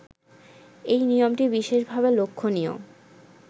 এই নিয়মটি বিশেষভাবে লক্ষণীয়